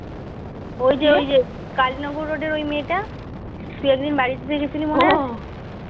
এ যে এ যে কালিনগর রোডে ওই মেয়েটা